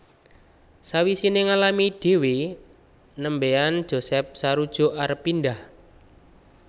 Sawise ngalami dhewe nembean Josh sarujuk arep pindhah